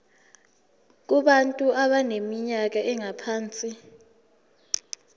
kubantu abaneminyaka engaphansi